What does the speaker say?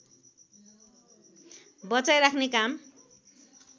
बचाई राख्ने काम